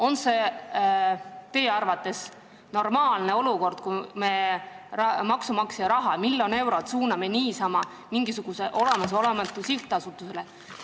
On see teie arvates normaalne olukord, kui me maksumaksja raha miljon eurot suuname mingisugusele olemasolematule sihtasutusele?